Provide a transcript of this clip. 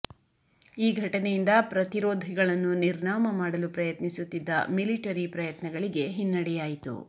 ಈ ಘಟನೆಯಿಂದ ಪ್ರತಿರೋಧಿಗಳನ್ನು ನಿರ್ನಾಮ ಮಾಡಲು ಪ್ರಯತ್ನಿಸುತ್ತಿದ್ದ ಮಿಲಿಟರಿ ಪ್ರಯತ್ನಗಳಿಗೆ ಹಿನ್ನಡೆಯಾಯಿತು